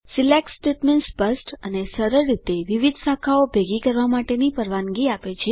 select statement સ્પષ્ટ અને સરળ રીતે વિવિધ શાખાઓ ભેગી કરવા માટેની પરવાનગી આપે છે